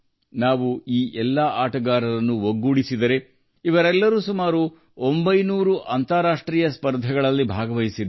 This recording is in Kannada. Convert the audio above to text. ನಾವು ಎಲ್ಲಾ ಆಟಗಾರರನ್ನು ಒಟ್ಟಿಗೆ ತೆಗೆದುಕೊಂಡರೆ ಅವರೆಲ್ಲರೂ ಸುಮಾರು 900 ಮಂದಿ ಅಂತಾರಾಷ್ಟ್ರೀಯ ಸ್ಪರ್ಧೆಗಳಲ್ಲಿ ಭಾಗವಹಿಸುತ್ತಿದ್ದಾರೆ